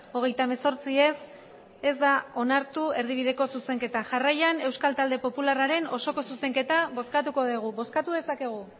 hogeita hemezortzi ez ez da onartu erdibideko zuzenketa jarraian euskal talde popularraren osoko zuzenketa bozkatuko dugu bozkatu dezakegu